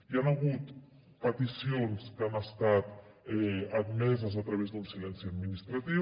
hi han hagut peticions que han estat admeses a través d’un silenci administratiu